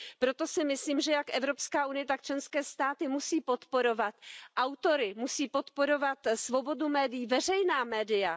Proto si myslím, že jak Evropská unie, tak členské státy musí podporovat autory, musí podporovat svobodu médií, veřejná média.